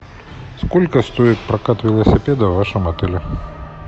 сколько стоит прокат велосипеда в вашем отеле